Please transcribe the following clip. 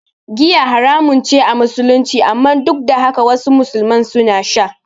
Giya haramun ce a Musulunci, amma duk da haka wasu musulman suna sha.